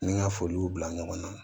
Ni n ka foli b'u bila ɲɔgɔn na